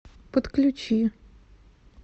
подключи